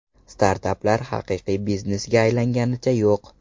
Startaplar haqiqiy biznesga aylanganicha yo‘q.